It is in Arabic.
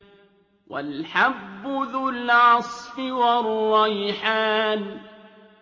وَالْحَبُّ ذُو الْعَصْفِ وَالرَّيْحَانُ